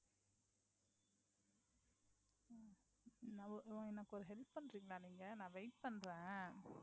உம் என்னக்கு ஒரு help பண்ணறீங்களா நீங்க நான் wait பண்றேன்